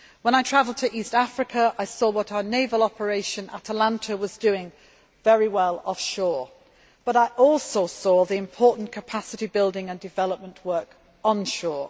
When I travelled to East Africa, I saw what our naval operation, Atalanta, was doing very well offshore, but I also saw the important capacity building and development work onshore.